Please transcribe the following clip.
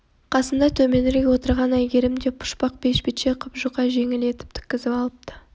қасында төменірек отырған әйгерім де пұшпақ бешпетше қып жұқа жеңіл етіп тіккізіп алыпты